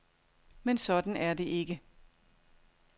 Men sådan er det ikke.